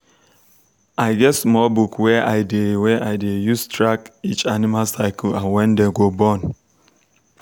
i get small book wey i dey wey i dey use track each animal cycle and when dem go born.